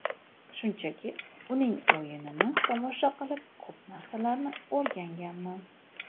Shunchaki uning o‘yinini tomosha qilib, ko‘p narsalarni o‘rganganman.